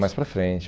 Mais para frente.